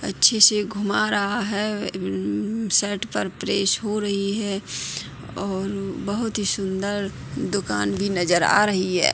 अच्छे से घुमा रहा है अ न शर्ट पर प्रेस हो रही है और बहुत ही सुंदर दुकान भी नजर आ रही है।